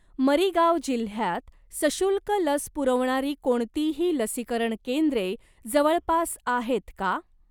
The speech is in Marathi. मरीगाव जिल्ह्यात सशुल्क लस पुरवणारी कोणतीही लसीकरण केंद्रे जवळपास आहेत का?